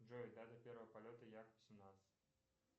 джой дата первого полета як восемнадцать